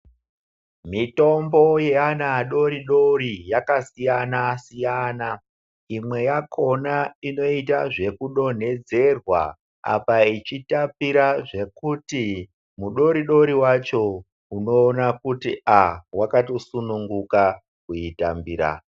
Mitombo yeana adori dori yakasiyana siyana imwen yakona inoita zvekudonhedzedzerwa apa ichitapira zvekuti mudori dori wacho unoona kuti wakatosunungika kuitambira.